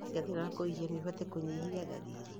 Ndawa cia thĩna wa kũhihia noihote kũnyihia ndariri